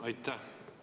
Aitäh!